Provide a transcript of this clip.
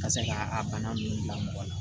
Ka se ka a bana ninnu bila mɔgɔ la